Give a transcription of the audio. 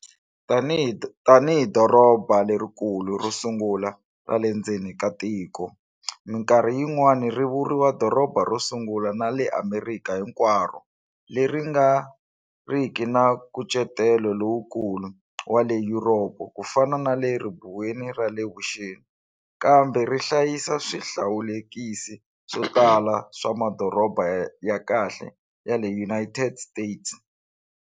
Tanihi doroba lerikulu ro sungula ra le ndzeni ka tiko, minkarhi yin'wana ri vuriwa doroba ro sungula ra le Amerika hinkwaro, leri nga riki na nkucetelo lowukulu wa le Yuropa ku fana na le Ribuweni ra le Vuxeni, kambe ri hlayisa swihlawulekisi swo tala swa madoroba ya khale ya le United States.